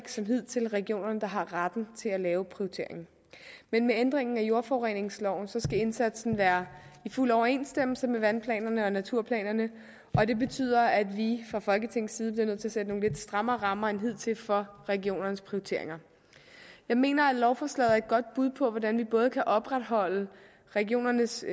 som hidtil regionerne der har retten til at lave prioriteringen men med ændringen af jordforureningsloven skal indsatsen være i fuld overensstemmelse med vandplanerne og naturplanerne og det betyder at vi fra folketingets side bliver nødt til at sætte nogle lidt strammere rammer end hidtil for regionernes prioriteringer jeg mener at lovforslaget er et godt bud på hvordan vi både kan opretholde regionernes